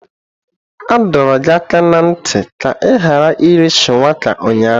A dọrọ gị aka ná ntị ka ị ghara iri Shuwaka ụnyahụ.